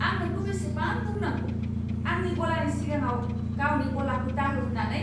आं नोंखौ बेसेबां बुंनांगौ, आंनि गलानि सिगाङाव गावनि गलाखौ दाहो होन्नानै!